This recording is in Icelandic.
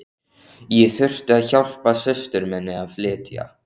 Ég þurfti að hjálpa systur minni að flytja.